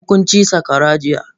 Mukn ci saƙwara jiya.